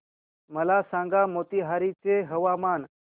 मला सांगा मोतीहारी चे हवामान